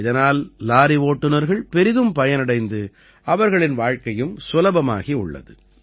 இதனால் லாரி ஓட்டுனர்கள் பெரிதும் பயனடைந்து அவர்களின் வாழ்க்கையும் சுலபமாகியுள்ளது